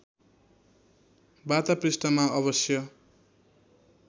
वार्ता पृष्ठमा अवश्य